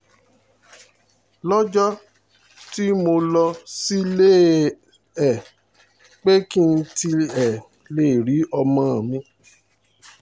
lọ́jọ́ tí mo lọ sílé e pé kí n tiẹ̀ lè rí ọmọ mi